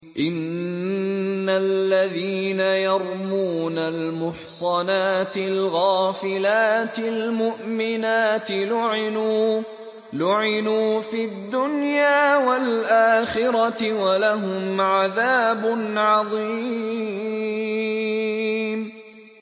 إِنَّ الَّذِينَ يَرْمُونَ الْمُحْصَنَاتِ الْغَافِلَاتِ الْمُؤْمِنَاتِ لُعِنُوا فِي الدُّنْيَا وَالْآخِرَةِ وَلَهُمْ عَذَابٌ عَظِيمٌ